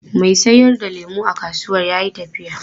Mai sayar da lemu a kasuwan ya yi tafiya.